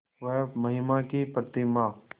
वह महिमा की प्रतिमा